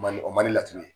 Mali o mali la tun ye